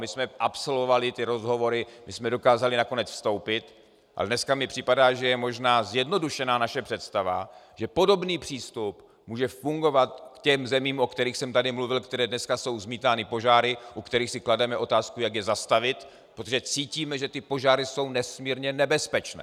My jsme absolvovali ty rozhovory, my jsme dokázali nakonec vstoupit, ale dneska mi připadá, že je možná zjednodušená naše představa, že podobný přístup může fungovat k těm zemím, o kterých jsem tady mluvil, které dneska jsou zmítány požáry, u kterých si klademe otázku, jak je zastavit, protože cítíme, že ty požáry jsou nesmírně nebezpečné.